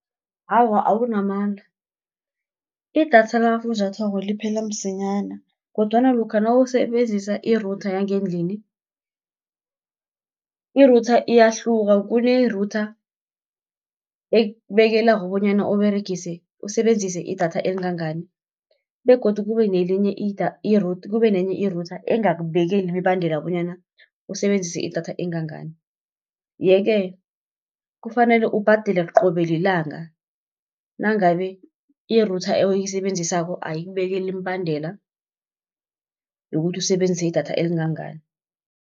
Awa awunamala, idatha lakafunjathwako liphela msinyana, kodwana lokha nawusebenzisa i-router yangendlini, i-router iyahluka kune-router ekubekela bonyana usebenzise idatha elingangani, begodu kube nenye i-router engakubekeli imibandela bonyana usebenzise idatha engangani. Yeke kufanele ubhadele qobe lilanga, nangabe i-router oyisebenzisako ayikubekeli imibandela yokuthi usebenzise idatha elingangani.